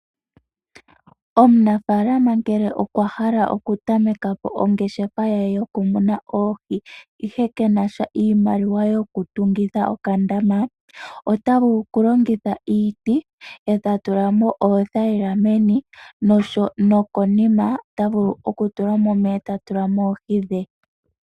Omunafalama ngele okwa hala okutameka po ongeshefa ya ye yokumuna oohi, ihe kena sha iimaliwa yokutungitha okandama, ota vulu okulongitha iiti e ta tula mp oothayila meni, nokonima ota vulu okutula mo omeya e ta tula mo oohi dhe.